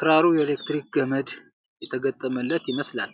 ክራሩ የኤሌክትሪክ ገመድ የተገጠመለት ይመስላል።